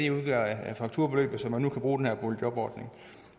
udgør af fakturabeløbet så man nu kan bruge den her boligjobordning